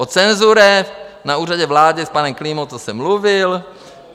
O cenzuře na Úřadě vlády s panem Klímou - to jsem mluvil.